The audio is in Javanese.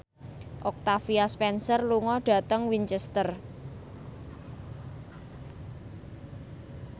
Octavia Spencer lunga dhateng Winchester